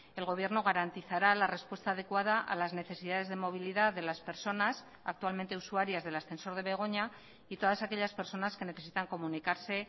el gobierno garantizará la respuesta adecuada a las necesidades de movilidad de las personas actualmente usuarias del ascensor de begoña y todas aquellas personas que necesitan comunicarse